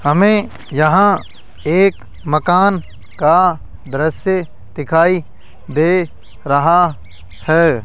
हमें यहां एक मकान का दृश्य दिखाई दे रहा है।